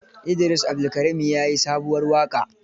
Idris Abdulkarim ya yi sabuwar waƙa.